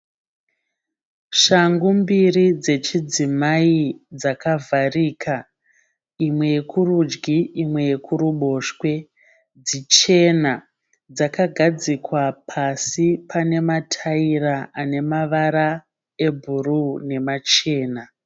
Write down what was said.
Shangu mbiri dzechidzimai dzakavharika, imwe yekurudyi imwe yekuruboshwe, dzichena. Dzakagadzikwa pasi panematayira anemavara ebhuruu nemachena.